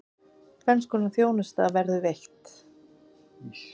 Tvenns konar þjónusta verður veitt.